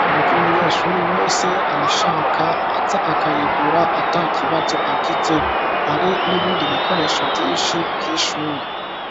ku buryo umunyeshuri wese ayishaka aza akayigura atakibazo agize, hari n'ibindi bikoresho vyinshi vy'ishuri